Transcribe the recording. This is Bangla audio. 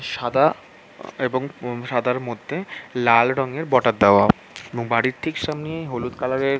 সাদা-আ- অ এবং সাদার মধ্যে লাল রঙের বর্ডার দেওয়া এবং বাড়ির ঠিক সামনেই হলুদ কালার -এর--